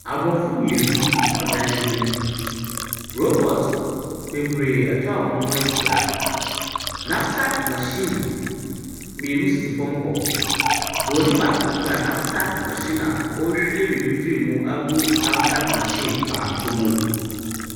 Aborɔfo mmienu wɔ dan bi mu. Robort bebree atwa wɔn ho ahia. Napsak machine mmienu sisi fam hɔ. Buroni baako kura napsak machine a ɔrehwie biribi firi mu agu napsak machine foforo mu.